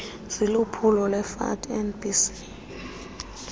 ziliphulo lerfa nbc